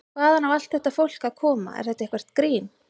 Hvaðan á allt þetta fólk að koma, er þetta eitthvert grín?